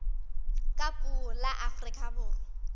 ka puo la afrika borwa